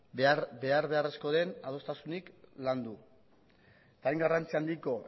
behar beharrezkoa den adostasunik landu hain garrantzia handiko